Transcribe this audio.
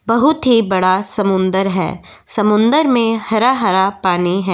बहुत ही बड़ा समुंदर है समुंदर में हरा-हरा पानी है --